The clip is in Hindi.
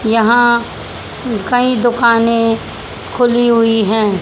यहां कई दुकाने खुली हुई है।